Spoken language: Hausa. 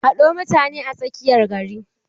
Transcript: Haɗo mutane a tsakiyar gari!